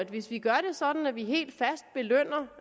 hvis vi gør det sådan at vi helt fast belønner